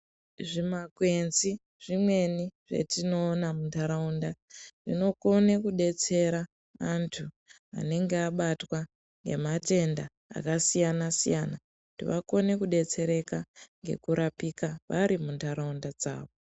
Zvimakwenzi zvimweni zvatinoona muntaraunda zvinokona kudetsera antu anenge abatwa nematenda akasiyana siyana kuti vakone kudetsereka ngekurapika vari muntaraunda dzawo.